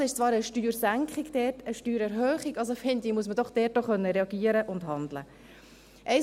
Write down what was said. Also ist zwar eine Steuersenkung dort eine Steuererhöhung, und somit finde ich, dass man doch auch reagieren und handeln können muss.